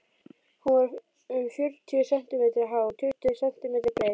Hún var um fjörutíu sentímetra há og tuttugu sentímetra breið.